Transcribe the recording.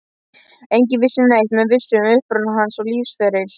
Enginn vissi neitt með vissu um uppruna hans og lífsferil.